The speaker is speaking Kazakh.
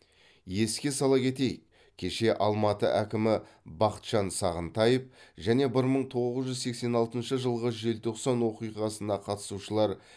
еске сала кетей кеше алматы әкімі бақытжан сағынтаев және бір мың тоғыз жүз сексен алтыншы жылғы желтоқсан оқиғасына қатысушылар